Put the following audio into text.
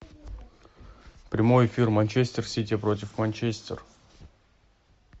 прямой эфир манчестер сити против манчестер